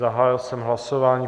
Zahájil jsem hlasování.